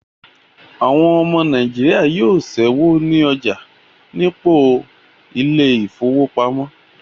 Àwọn ọmọ Nàìjíríà yóò ṣẹ́wó ní ọjà nípò ilé ìfowópamọ́